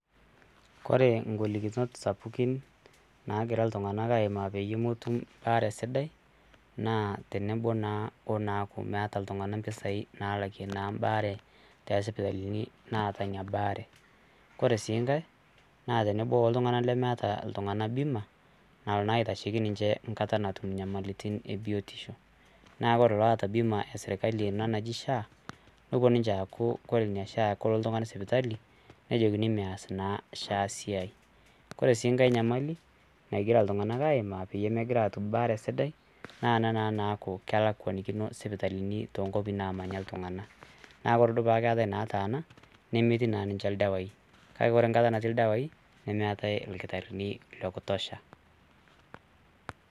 Ore ngolilinot nagira iltunganak aaimaa peyie metum baare sidai naa teneeku naa meeta iltunganak mpusai nalakie naa mbaare tosipitalini naata Ina baare . Ore sii nkae naa tenebo oltungani lemeeta bima nalo naa aitasheiki ninche nkata natum inyamalitin e biotisho. Naa ore loota bima ena esirkali ena naji sha nepuo ninche aaku ore pelo oltungani sipitali ,nejokini meas naa sha esiaai. Kore sii nkae nyamali nagira iltunganak aaimaa peyie pegira atum baare sidai naa ena naa naaku kelakwanikino sipitalini toonkwapi naamanya iltunganak